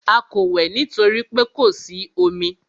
A kò wẹ̀ nítorí pé kò sí omi.